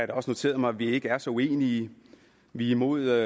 da også noteret mig at vi ikke er så uenige vi er imod